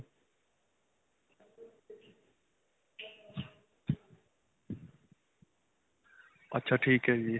ਅੱਛਾ ਠੀਕ ਹੈ ਜੀ .